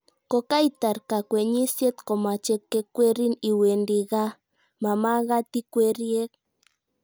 Kokaitar kakwenyisiet komache kekweriin iwendi gaa, mamagat ikweri ek.